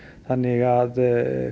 þannig að